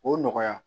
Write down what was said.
O nɔgɔya